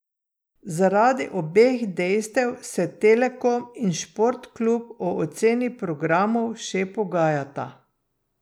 Zaradi obeh dejstev se Telekom in Sport Klub o ceni programov še pogajata.